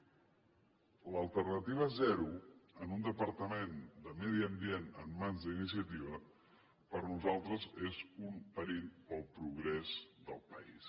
l’alternativa zero en un departament de medi ambient en mans d’iniciativa per nosaltres és un perill per al progrés del país